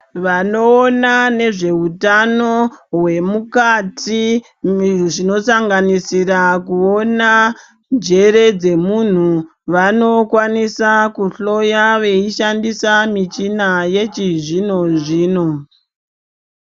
Vanoona nezveutano hwemukati zvinosanganisira kuona njere dzemuntu, vanokwanisa kuhloya veishandisa michina yechizvino zvino.